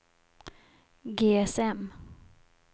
GSM